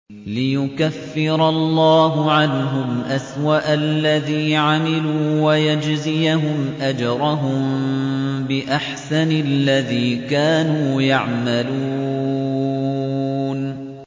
لِيُكَفِّرَ اللَّهُ عَنْهُمْ أَسْوَأَ الَّذِي عَمِلُوا وَيَجْزِيَهُمْ أَجْرَهُم بِأَحْسَنِ الَّذِي كَانُوا يَعْمَلُونَ